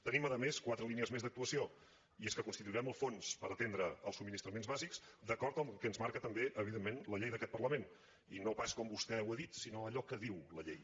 tenim a més quatre línies més d’actuació i és que constituirem el fons per atendre els subministraments bàsics d’acord amb el que ens marca també evidentment la llei d’aquest parlament i no pas com vostè ho ha dit sinó allò que diu la llei